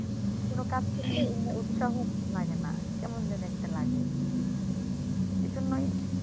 কোন কাজকে উম উৎসাহ লাগে না কেমন যেন একটা লাগে এজন্যই